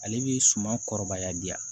Ale bɛ suman kɔrɔbaya di yan